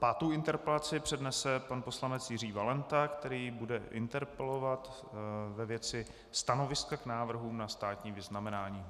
Pátou interpelaci přednese pan poslanec Jiří Valenta, který bude interpelovat ve věci stanoviska k návrhům na státní vyznamenání.